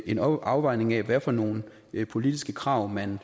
en afvejning af hvad for nogle politiske krav man